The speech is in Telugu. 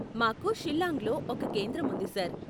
మాకు షిల్లాంగ్ లో ఒక కేంద్రం ఉంది సర్.